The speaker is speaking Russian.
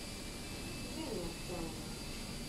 жене ахтямове